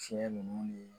Fiɲɛ ninnu ni